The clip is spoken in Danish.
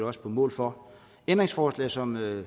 også på mål for ændringsforslaget som